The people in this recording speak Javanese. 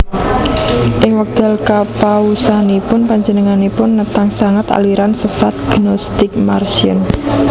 Ing wekdal kapausanipun panjenenganipun netang sanget aliran sesat Gnostik Marcion